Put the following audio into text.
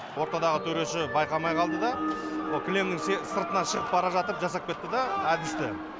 ортадағы төреші байқамай қалды да ол кілемнің сыртына шығып бара жатып жасап кетті да әдісті